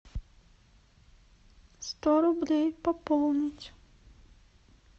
сто рублей пополнить